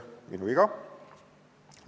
Minu viga!